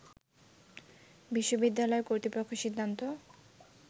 বিশ্ববিদ্যালয় কর্তৃপক্ষ সিদ্ধান্ত